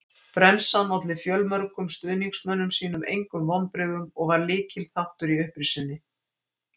Bremsan olli fjölmörgum stuðningsmönnum sínum engum vonbrigðum og var lykilþáttur í upprisunni.